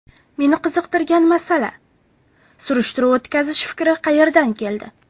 Meni qiziqtirgan masala – surishtiruv o‘tkazish fikri qayerdan keldi?